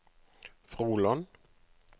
Froland